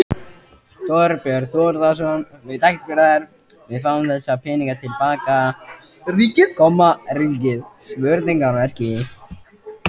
Þorbjörn Þórðarson: Við fáum þessa peninga til baka, ríkið?